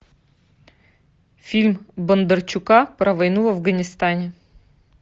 фильм бондарчука про войну в афганистане